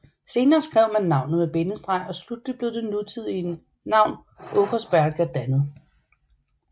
Senere skrev man navnet med bindestreg og slutteligt blev det nutidige navn Åkersberga dannet